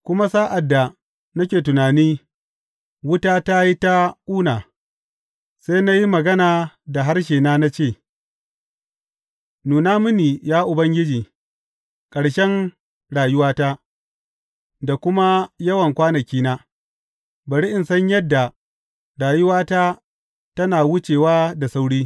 Kuma sa’ad da nake tunani, wuta ta yi ta kuna; sai na yi magana da harshena na ce, Nuna mini, ya Ubangiji, ƙarshen rayuwata da kuma yawan kwanakina; bari in san yadda rayuwata tana wucewa da sauri.